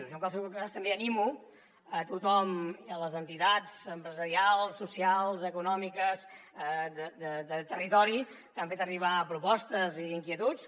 jo en qualsevol cas també animo a tothom les entitats empresarials socials econòmiques del territori que han fet arribar propostes i inquietuds